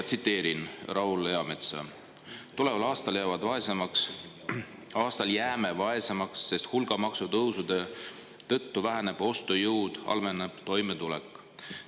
Tsiteerin: "Tuleval aastal jääme vaesemaks, sest hulga maksutõusude tõttu väheneb ostujõud ja halveneb toimetulek.